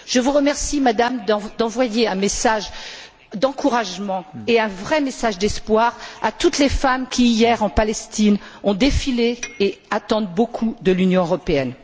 Je vous remercie, Madame, d'envoyer un message d'encouragement et un vrai message d'espoir à toutes les femmes qui, hier, en Palestine ont défilé et attendent beaucoup de l'Union européenne.